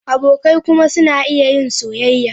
Abokai kuma suna iya yin soyayya.